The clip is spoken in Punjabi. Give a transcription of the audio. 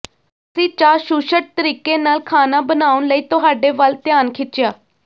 ਅਸੀਂ ਚਾਸ਼ੁਸ਼ਟ ਤਰੀਕੇ ਨਾਲ ਖਾਣਾ ਬਣਾਉਣ ਲਈ ਤੁਹਾਡੇ ਵੱਲ ਧਿਆਨ ਖਿੱਚਿਆ